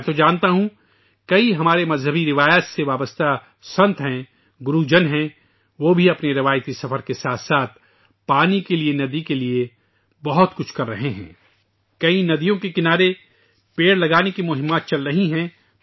میں جانتا ہوں کہ ہماری مذہبی روایت وابستہ سے کئی سنت ، گرو ہیں ، وہ اپنے روحانی سفر کے ساتھ ساتھ پانی کے لیے ندی کے لیے بھی بہت کچھ کر رہے ہیں ، بہت سے لوگ ندیؤں کے کنارے شجر کاری مہم چلا رہے ہیں